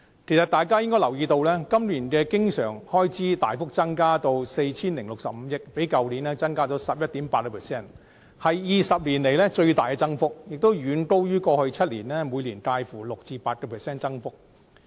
其實，大家應該留意到，政府今年的經常性開支大幅增加至 4,065 億元，較去年增加了 11.8%， 是20年來最大增幅，亦遠高於過去7年每年介乎 6% 至 8% 的增幅。